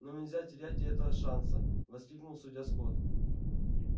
но нельзя терять и этого шанса воскликнул судья скотт